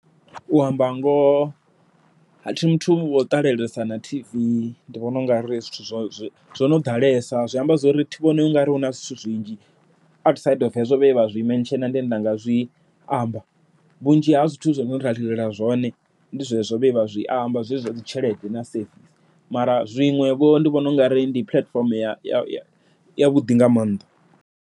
U amba ngoho thi muthu wo ṱalelesa na tv, ndi vhona u nga ri zwithu zwo no ḓalesa zwi amba zwori thi vhoni ungari huna zwithu zwinzhi, outside of hezwo zwenda zwi mention ndi ndanga zwi amba. Vhunzhi ha zwithu zwine ra lilela zwone ndi zwezwo vhe vha zwi amba zwezwi zwa dzi tshelede na safe mara zwiṅwe vho ndi vhona u nga ri ndi platform yavhuḓi nga maanḓa.